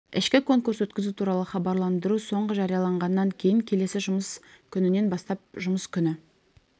ішкі конкурс өткізу туралы хабарландыру соңғы жарияланғаннан кейін келесі жұмыс күнінен бастап жұмыс күні